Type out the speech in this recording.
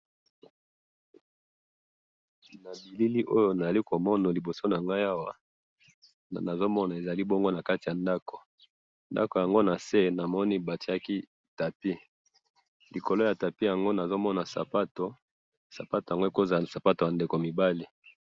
na bilili oyo nazali komona liboso nangayi ezali na kati ya ndaku, ndaku yango namoni tapis nase batiye likolo sapoto, sapato yango ekoki kozala sapato ya bana mibali